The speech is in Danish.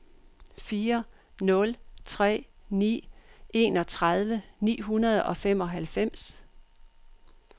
fire nul tre ni enogtredive ni hundrede og femoghalvfems